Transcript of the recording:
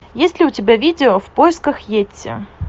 есть ли у тебя видео в поисках йети